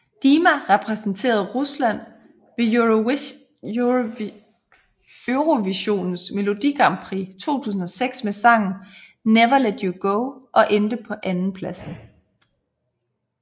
Dima repræsenterede Rusland ved Eurovisionens melodi grand prix 2006 med sangen Never Let You Go og endte på andenpladsen